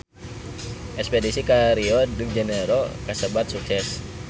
Espedisi ka Rio de Janairo kasebat sukses